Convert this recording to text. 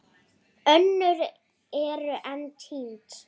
Önnur eru enn týnd.